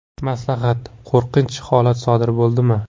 Maslahat: Qo‘rqinch holat sodir bo‘ldimi?